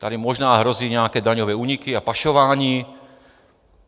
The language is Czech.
Tady možná hrozí nějaké daňové úniky a pašování.